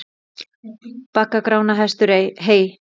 Baggar Grána hestur heys.